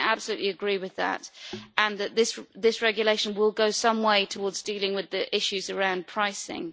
I absolutely agree with that and also that this regulation will go some way towards dealing with the issues around pricing.